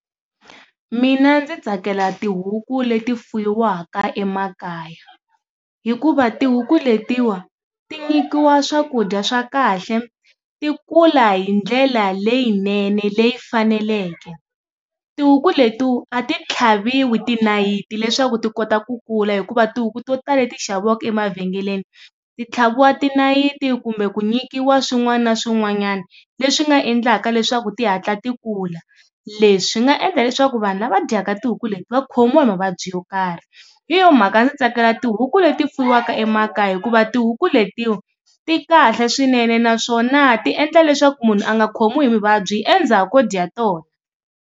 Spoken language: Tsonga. Mina ndzi tsakela tihuku leti fuyiwaka emakaya hikuva tihuku letiwa ti nyikiwa swakudya swa kahle, ti kula hi ndlela leyinene leyi faneleke. Tihuku letiwa a ti tlhaviwi ti nayiti leswaku ti kota ku kula hikuva tihuku to tala le ti xaviwaka emavhengeleni ti tlhaviwa ti nayiti kumbe ku nyikiwa swin'wana na swin'wanyana leswi nga endlaka leswaku ti hatla ti kula. Leswi nga endla leswaku vanhu lava dyaka tihuku leti va khomiwa hi mavabyi yo karhi hi yo mhaka ndzi tsakela tihuku leti fuyiwaka emakaya hikuva tihuku letiwa ti kahle swinene naswona ti endla leswaku munhu a nga khomiwi hi vuvabyi endzhaku ko dya tona.